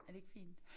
Er det ikke fint